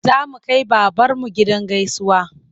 Za mu kai babarmu gidan gaisuwa.